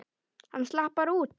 Hann slapp bara út.